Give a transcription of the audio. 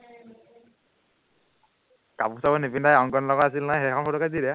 কাপোৰ চাপোৰ নিপিন্ধাকে অংকণৰ লগত আছিল নহয় সেইখন ফটোকে দি দে